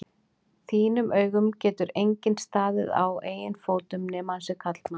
þínum augum getur enginn staðið á eigin fótum nema hann sé karlmaður.